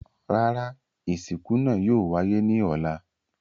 Rárá, isinku naa yóò waye ni ọlá